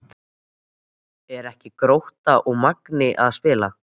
Eru ekki Grótta og Magni að spila?